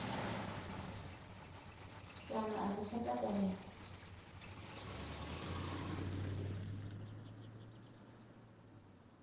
kana a sa tsha takalela